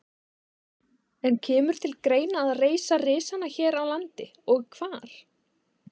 En kemur til greina að reisa risana hér á landi og hvar?